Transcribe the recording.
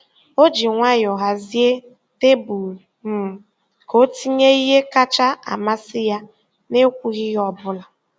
O ji nwayọọ hazie tebụl um ka ọ tinye ihe kacha amasị ya n’ekwughị ihe ọ bụla.